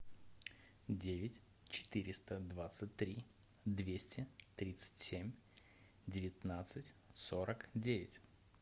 девять четыреста двадцать три двести тридцать семь девятнадцать сорок девять